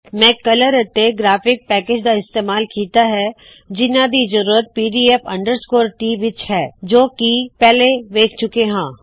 मै colour ਅਤੇ graphic packages ਦਾ ਇਸਤੇਮਾਲ ਕੀੱਤਾ ਹੈ ਜਿਹਨਾ ਦੀ ਜ਼ਰੂਰਤ ਪੀਡੀਏਫ ਟੀ pdf ਟ ਵਿੱਚ ਹੈ ਜੋ ਕਿ ਅਸੀ ਪਹਿਲੇ ਵੇਖ ਚੁੱਕੇ ਹਾ